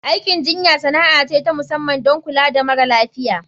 Aikin jinya sana'a ce ta musamman don kula da mara lafiya.